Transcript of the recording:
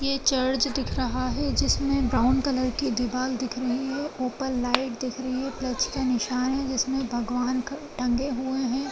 ये चर्च दिख रहा है जिसमे ब्राउन कलर की दिवाल दिख रही है ऊपर लाइट दिख रही है प्लस का निशान है जिसमे भगवान टंगे हुए है।